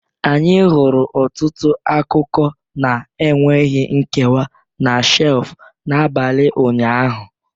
Anyị hụrụ ọtụtụ akụkọ na-enweghị nkewa na shelf n'abalị ụnyaahụ